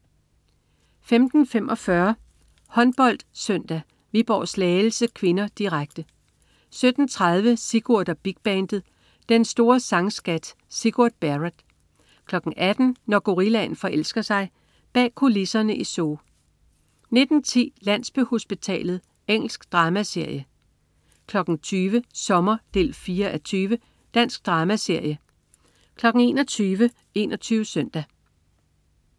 15.45 HåndboldSøndag: Viborg-Slagelse (k), direkte 17.30 Sigurd og Big Bandet. Den store sang-scat. Sigurd Barrett 18.00 Når gorillaen forelsker sig. Bag kulisserne i zoo 19.10 Landsbyhospitalet. Engelsk dramaserie 20.00 Sommer 4:20. Dansk dramaserie 21.00 21 Søndag